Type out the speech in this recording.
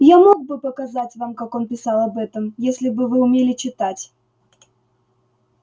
я мог бы показать вам как он писал об этом если бы вы умели читать